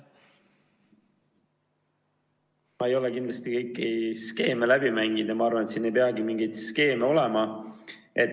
Me ei ole kindlasti kõiki skeeme läbi mänginud ja ma arvan, et ei peagi mingeid skeeme olema.